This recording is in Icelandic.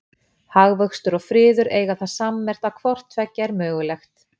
hagvöxtur og friður eiga það sammerkt að hvort tveggja er mögulegt